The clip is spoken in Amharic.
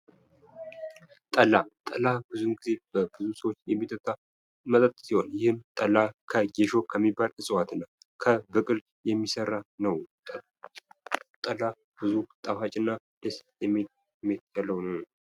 ጠላ ጠላ፦ ብዙውን ጊዜ በብዙ ሰዎች የሚጠጣ መጠጥ ሲሆን ይህም ጠላ ጌሾ ከሚባል ዕጽዋትና ከብቅል የሚሰራ ነው። ጠላ ብዙ ጣፋጭና ደስ የሚል መጠጥ ነው።